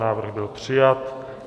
Návrh byl přijat.